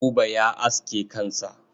Buba ya aske kansa.